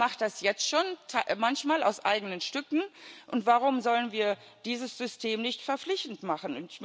Die EFSA macht das jetzt schon manchmal aus eigenen Stücken, und warum sollen wir dieses System nicht verpflichtend machen?